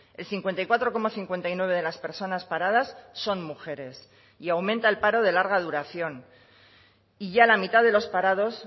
el cincuenta y cuatro coma cincuenta y nueve de las personas paradas son mujeres y aumenta el paro de larga duración y ya la mitad de los parados